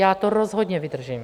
Já to rozhodně vydržím.